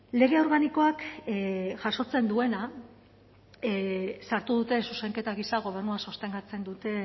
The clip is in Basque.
lege organikoak jasotzen duena sartu dute zuzenketa gisa gobernua sostengatzen duten